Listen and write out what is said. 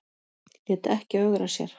Lét ekki ögra sér